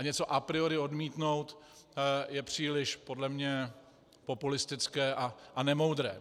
A něco a priori odmítnout je příliš podle mě populistické a nemoudré.